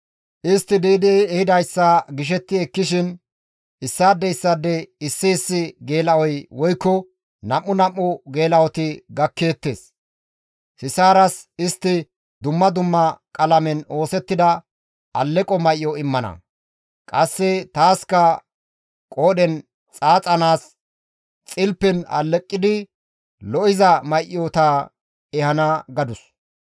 ‹Istti di7idi ehidayssa gishetti ekkishin issaade issaade issi issi geela7oy woykko nam7u nam7u geela7oti gakkeettes. Sisaaras istti dumma dumma qalamen oosettida aleqo may7o immana; qasse taaska qoodhen xaaxanaas xilifen alleqidi lo7iza may7ota ehana› gadus.